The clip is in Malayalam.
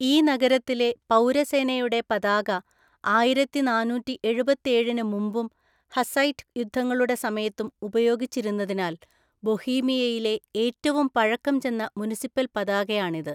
ഈ നഗരത്തിലെ പൗരസേനയുടെ പതാക ആയിരത്തിനാനൂറ്റിഎഴുപത്തേഴിന് മുമ്പും ഹസ്സൈറ്റ് യുദ്ധങ്ങളുടെ സമയത്തും ഉപയോഗിച്ചിരുന്നതിനാൽ, ബൊഹീമിയയിലെ ഏറ്റവും പഴക്കം ചെന്ന മുനിസിപ്പൽ പതാകയാണിത്.